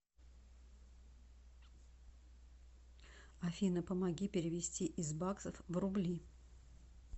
афина помоги перевести из баксов в рубли